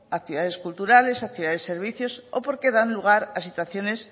a ciudades culturales a ciudades servicios o porque dan lugar a situaciones